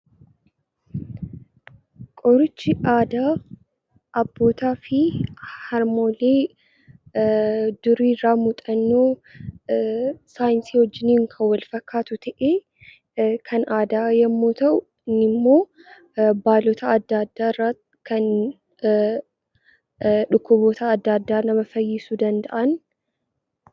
Qorichi aadaa abbootaa fi harmoolii durii irraa muuxannoo saayinsii waliin kan wal fakkaatu ta'ee, kan aadaa yommuu ta'u, kunimmoo baalota adda addaa irraa kan dhukkuboota adda addaa nama fayyisuu danda'u